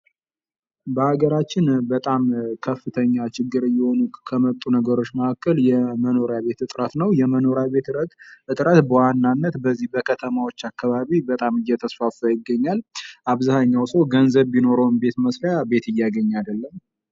በሀገራችን በጣም ከፍተኛ ችግር እየሆኑ ከመጡ ነገሮች መካከል የመኖሪያ ቤት እጥረት ነው የመኖሪያ ቤት እጥረት በዋናነት በዚህ በከተማዎች አከባቢ በጣም እየተስፋፋ ይገኛል አብዛኃኛው ሰው ገንዘብ ቢኖረውም የቤት መስሪያ ቤት እያገኘ አይደለም።